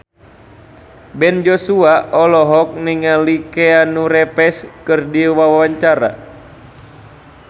Ben Joshua olohok ningali Keanu Reeves keur diwawancara